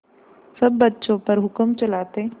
सब बच्चों पर हुक्म चलाते